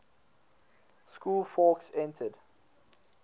school fawkes entered